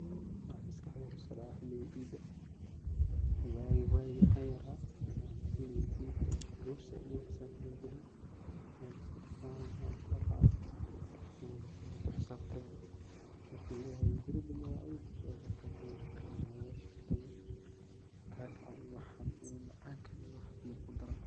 Waxa maskax deyda kusodaca wagi cidda ,wagi wagi aan yara, xilga cidda aa lagu xisab tami jire ,buskudka, kakaca waad ku xisabtami ,marki laleyahay bari danbe waa ciid zaid aya logu xisab tami ,kakacan lee iyo macmacankan iyo waxaan lee kudaran.